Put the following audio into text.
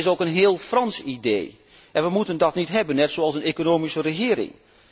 Het is ook een heel Frans idee, en we moeten dat niet hebben, net zomin als een economische regering.